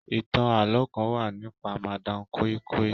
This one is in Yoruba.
Ìtàn àlọ kán wá nípa madam koi koi.